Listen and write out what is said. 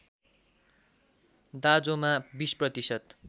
दाँजोमा २० प्रतिशत